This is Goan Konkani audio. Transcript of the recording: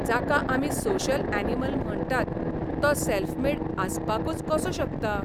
जाका आमी सोशल यॅनिमल म्हणटात तो सॅल्फ मेड आसपाकूच कसो शकता?